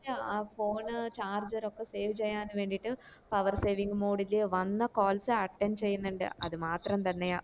ആഹ് phone charger ഒക്കെ save ചെയ്യാൻ വേണ്ടിട്ട് power saving mode ല് വന്ന calls attend ചെയ്യന്ന്ണ്ട് അത് മാത്രം തന്നെയാ